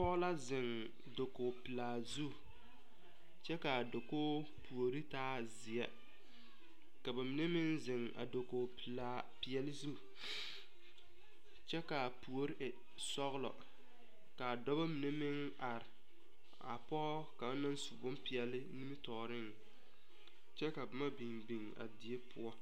Pɔge la ziŋ dakoge pilaa zu kyɛ kaa dakoge puori taa zeɛ ka ba mine meŋ ziŋ a dakog pilaa peɛle zu kyɛ kaa puori e sɔglɔ kaa dɔba mine meŋ are a pɔge kaŋ naŋ su boŋ peɛle nimisɔgɔŋ kyɛ ka boma biŋbiŋ a die poɔ.